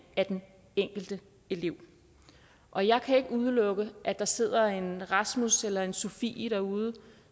af den enkelte elev og jeg kan ikke udelukke at der sidder en rasmus eller en sofie derude